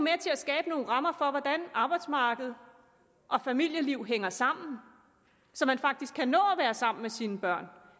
at skabe nogle rammer for hvordan arbejdsmarked og familieliv hænger sammen så man faktisk kan nå at være sammen med sine børn